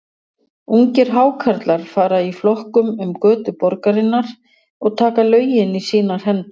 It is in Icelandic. Ungir Hákarlar fara í flokkum um götur borgarinnar og taka lögin í sínar hendur.